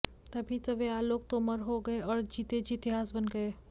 तभी तो वे आलोक तोमर हो गए और जीते जी इतिहास बन गए